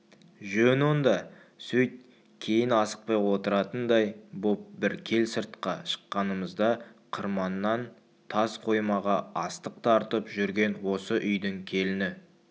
жөн онда сөйт кейін асықпай отыратындай боп бір кел сыртқа шыққанымызда қырманнан тас қоймаға астық тартып жүрген осы үйдің келіні